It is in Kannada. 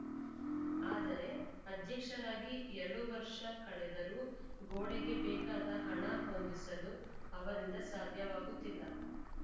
ಆದರೆ ಅಧ್ಯಕ್ಷರಾಗಿ ಎರಡು ವರ್ಷ ಕಳೆದರೂ ಗೋಡೆಗೆ ಬೇಕಾದ ಹಣ ಹೊಂದಿಸಲು ಅವರಿಂದ ಸಾಧ್ಯವಾಗುತ್ತಿಲ್ಲ